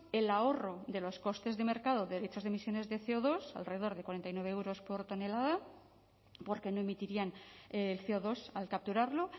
el ahorro de los costes de mercado derechos de emisiones de ce o dos alrededor de cuarenta y nueve euros por tonelada porque no emitirían el ce o dos al capturarlo